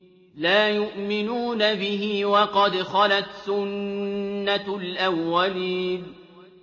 لَا يُؤْمِنُونَ بِهِ ۖ وَقَدْ خَلَتْ سُنَّةُ الْأَوَّلِينَ